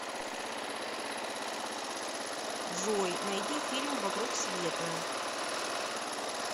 джой найди фильм вокруг света